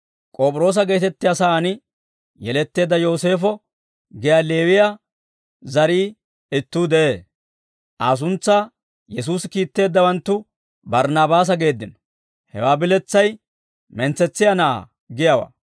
K'op'iroosa geetettiyaa saan yeletteedda Yooseefo giyaa Leewiyaa zarii ittuu de'ee; Aa suntsaa Yesuusi kiitteeddawanttu Barnaabaasa geeddino. Hewaa biletsay «Mentsetsiyaa Na'aa» giyaawaa.